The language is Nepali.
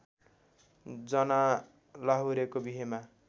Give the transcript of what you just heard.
जना लाहुरेको बिहेमा